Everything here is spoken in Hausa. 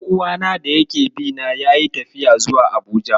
Ɗan'uwana da yake bi na yayi tafiya zuwa Abuja.